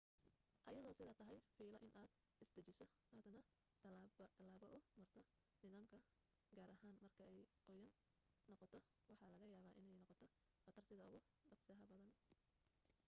iyadoo sidaa tahay filo in aad isdejiso aadna talaab talaab u marto nidaamka gaar ahaan marka ay qoyaan noqoto waxaa laga yaaba iney noqoto qatar sida ugu dhaqsaha badan